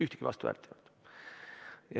Ühtegi vastuhäält ei olnud.